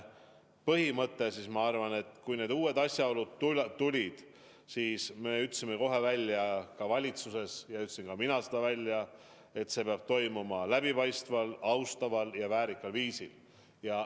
Ma arvan, et kui need uued asjaolud välja tulid, siis me ütlesime kohe valitsuses ja ütlesin ka mina seda, et uurimine peab toimuma läbipaistval, austaval ja väärikal viisil.